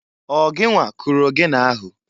Ọ gịnwa kụrụ ogene ahụ?